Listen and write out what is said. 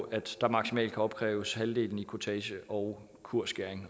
at der maksimalt kan opkræves halvdelen i kurtage og kursskæring